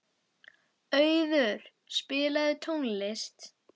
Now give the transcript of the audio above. Auður, spilaðu tónlist.